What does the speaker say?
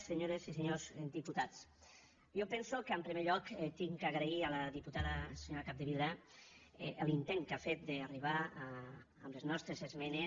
senyores i senyors diputats jo penso que en primer lloc haig d’agrair a la diputada senyora capdevila l’intent que ha fet d’arribar amb les nostres esmenes